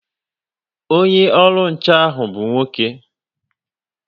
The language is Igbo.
Onye olu nche ha bụ nwoke